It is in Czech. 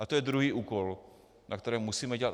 A to je druhý úkol, na kterém musíme dělat.